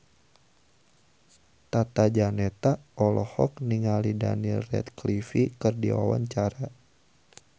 Tata Janeta olohok ningali Daniel Radcliffe keur diwawancara